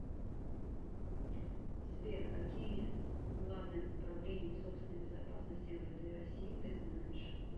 сбер какие главное управление собственной безопасности мвд россии ты знаешь